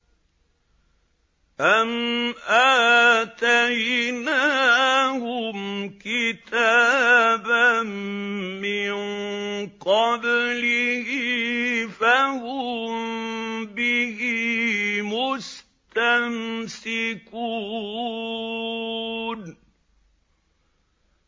أَمْ آتَيْنَاهُمْ كِتَابًا مِّن قَبْلِهِ فَهُم بِهِ مُسْتَمْسِكُونَ